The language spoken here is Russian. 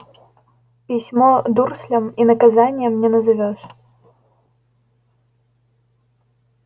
письмо дурслям и наказанием не назовёшь